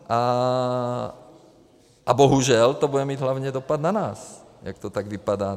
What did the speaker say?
A bohužel to bude mít hlavně dopad na nás, jak to tak vypadá.